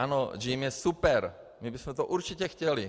Ano, JIM je super, my bychom to určitě chtěli.